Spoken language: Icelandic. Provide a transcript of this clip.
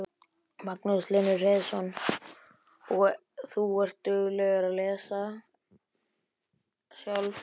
Magnús Hlynur Hreiðarsson: Og þú ert dugleg að lesa sjálf?